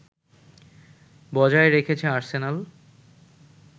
বজায় রেখেছে আর্সেনাল